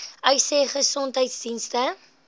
uys sê gesondheidsdienste